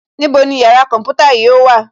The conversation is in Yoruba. Níbo ni yàrá kọ̀ḿpútà yóò wà